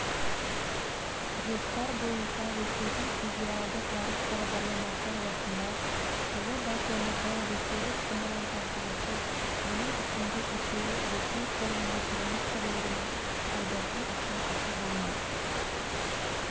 жоспар бойынша ресейдің федералдық ғарыш бағдарламасы аясында жылы байқоңырдан ресейлік зымыран тасығышы оның ішінде екеуі ресей қорғаныс министрлігінің пайдасы үшін ұшырылмақ